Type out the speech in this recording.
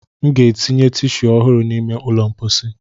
M ga-etinye tishuu ọhụrụ n'ime ụlọ mposi.